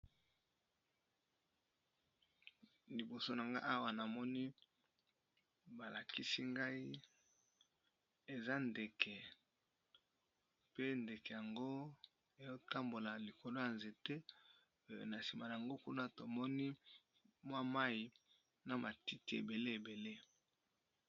Liboso na ngai, nazomona ndeke ezo kotambola likolo ya nzete. Mwa sima mopanzi naye tozomona ebale na matiti ebele.